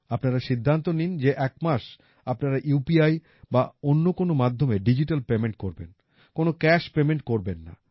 আপনারা সিদ্ধান্ত নিন যে একমাস আপনারা উপি বা অন্য কোনো মাধ্যমে ডিজিটাল পেমেন্ট করবেন কোনো ক্যাশ পেমেন্ট করবেন না